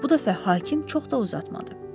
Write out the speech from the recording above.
Bu dəfə hakim çox da uzatmadı.